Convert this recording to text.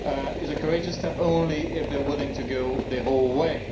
is a courageous step only if they are willing to go the whole way.